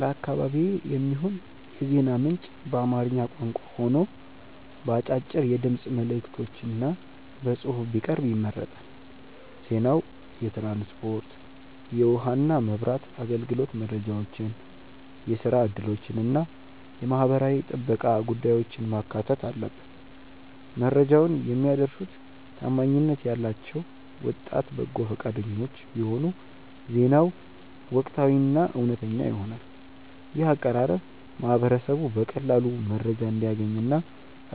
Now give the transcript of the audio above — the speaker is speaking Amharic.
ለአካባቢዬ የሚሆን የዜና ምንጭ በአማርኛ ቋንቋ ሆኖ በአጫጭር የድምፅ መልዕክቶችና በጽሑፍ ቢቀርብ ይመረጣል። ዜናው የትራንስፖርት፣ የውኃና መብራት አገልግሎት መረጃዎችን፣ የሥራ ዕድሎችንና የማኅበራዊ ጥበቃ ጉዳዮችን ማካተት አለበት። መረጃውን የሚያደርሱት ታማኝነት ያላቸው ወጣት በጎ ፈቃደኞች ቢሆኑ ዜናው ወቅታዊና እውነተኛ ይሆናል። ይህ አቀራረብ ማኅበረሰቡ በቀላሉ መረጃ እንዲያገኝና